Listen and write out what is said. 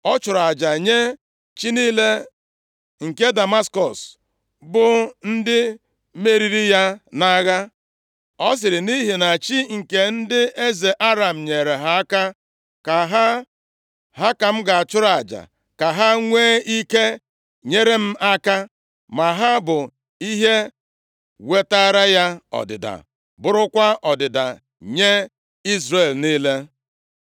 Ọ chụrụ aja nye chi niile nke Damaskọs, bụ ndị meriri ya nʼagha. Ọ sịrị, “Nʼihi na chi nke ndị eze Aram nyeere ha aka, ha ka m ga-achụrụ aja, ka ha nwee ike nyere m aka.” Ma ha bụ ihe wetaara ya ọdịda, bụrụkwa ọdịda nye Izrel niile.